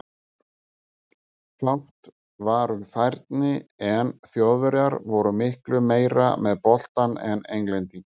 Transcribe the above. Fátt var um færi en Þjóðverjar voru miklu meira með boltann en Englendingar.